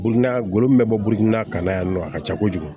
Bunda golo min bɛ bɔ burukina ka na yan nɔ a ka ca kojugu